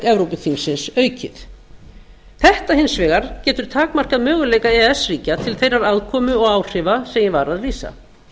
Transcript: evrópuþingsins aukið þetta hins vegar getur takmarkað möguleika e e s ríkja til þeirrar afkomu og áhrifa sem ég var að lýsa